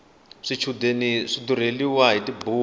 swichudeni swi durheliwa hiti buku